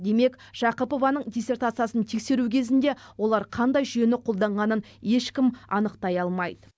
демек жақыпованың диссертациясын тексеру кезінде олар қандай жүйені қолданғанын ешкім анықтай алмайды